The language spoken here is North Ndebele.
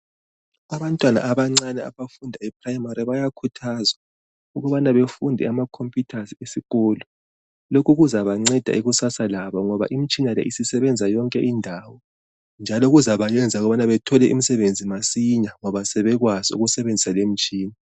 Abantwana abancane abafunda eprimary bayakhuthazwa ukubana befunde ama khompuyuthazi esikolo, lokhu kuzabanceda ikusasa labo ngoba imitshina leyi isisebenza yonke indawo njalo kuzabayenza ukubana bethole umsebenzi masinya ngoba sebekwazi. ukusebenzisa leyi mitshina.